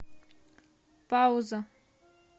пауза